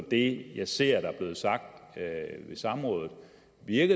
det jeg ser er blevet sagt ved samrådet